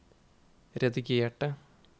redigerte